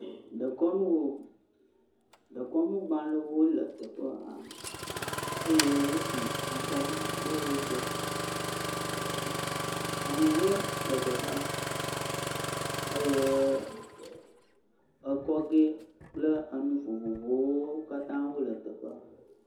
Dekɔnuwo, dekɔnugbalẽwo le teƒea eye wosi akaɖi ɖe wo gbɔ, ahuhɔe le teƒea eye ekɔ gɔ kple ami vovovowo katã le teƒea.